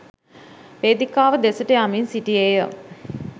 වේදිකාව දෙසට යමින් සිටියේ ය.